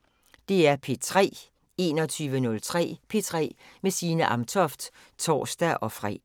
21:03: P3 med Signe Amtoft (tor-fre)